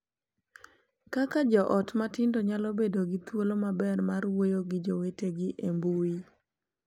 Kaka jo ot matindo nyalo bedo gi thuolo maber mar wuoyo gi jowetegi e mbui